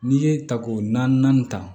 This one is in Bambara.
N'i ye tako naani ta